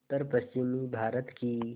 उत्तरपश्चिमी भारत की